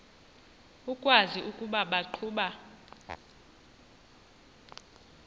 ukwazi ukuba baqhuba